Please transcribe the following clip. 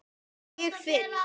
Ég finn